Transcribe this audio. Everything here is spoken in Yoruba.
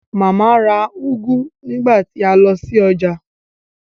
Màmá ra úgú nígbà tí a lọ sí ọjà